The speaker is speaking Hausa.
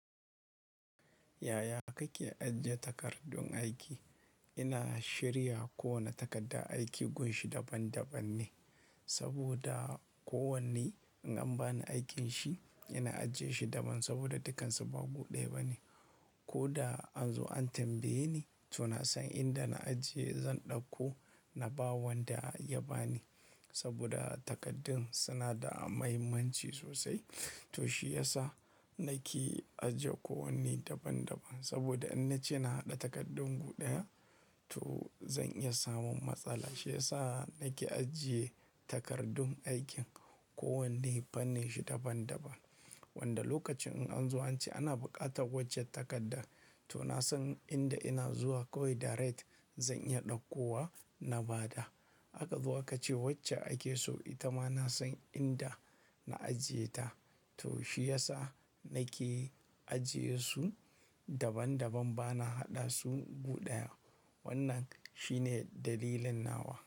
Yaya kake ajiye takardun aiki? Ina shirya kowane takardar aiki gushin daban-daban ne, saboda kowanne in an bani aikin shi, ina ajiye shi daban saboda dukansu ba gu ɗaya ba ne. Ko da an zo an tambaye ni, to na san inda na ajiye, zan ɗauko na ba wanda ya ba ni. Saboda takardun suna da mahimmanci sosai, to shi ya sa nake ajiye kowanne daban-daban. Saboda in na ce na haɗa takardun guɗaya, to zan iya samun matsala. Shi ya sa nake ajiye takardun aikin kowanne, fanning shi daban-daban. Wanda lokacin in an zo an ce ana buƙatar waccan takardar, to na san inda ina zuwa kawai direct zan iya ɗauko wa na ba da. Aka zo aka ce wacce ake so, ita ma na san inda na ajiye ta. To shi ya sa nake ajiye su daban-daban, ba na haɗa su guɗaya. Wannan shine dalilin nawa.